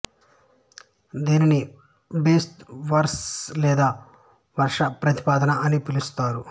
దీనిని బేస్తు వరస్ లేదా వర్ష ప్రతిపాద అని పిలుస్తారు